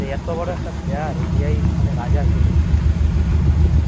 দে এত বড় একটা player ODI মানে রাজা ছিল।